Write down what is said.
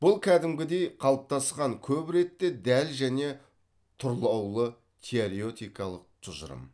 бұл кәдімгідей қалыптасқан көп ретте дәл және тұрлаулы теоретикалық тұжырым